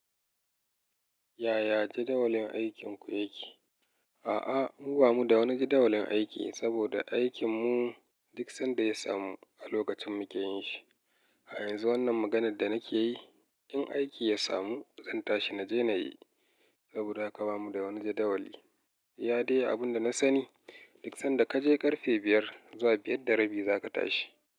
Yaya jadawalin aikinku yake? A'a, mu bamu da wani jadawalin aiki saboda aikinmu duk sanda ya samu a lokacin muke yin shi. A yanzu wannan maganar da nake yi, in aiki ya samu zan tashi na je na yi saboda aka bamu da wani jadawali. Iya dai abin da na sani duk sanda ka je ƙarfe biyar zuwa biyar da rabi za ka tashi.